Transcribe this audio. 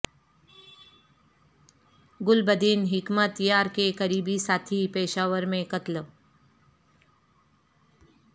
Gulbadin Hekmatyar کے قریبی ساتھی پشاور میں قتل